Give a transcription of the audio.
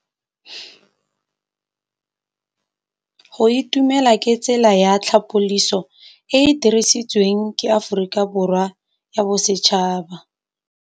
Go itumela ke tsela ya tlhapolisô e e dirisitsweng ke Aforika Borwa ya Bosetšhaba.